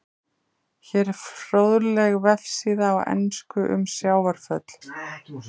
Hér er fróðleg vefsíða á ensku um sjávarföll.